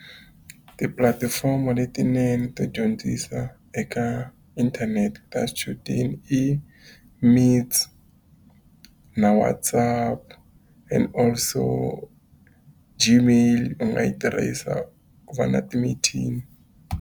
Tipulatifomo letinene to dyondzisa eka inthanete ta xichudeni i Meets, na WhatsApp and also Gmail, u nga yi tirhisa ku va na timithini.